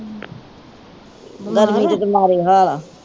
ਗਰਮੀ ਦੇ ਤੇ ਮਾੜੇ ਹਾਲ ਆ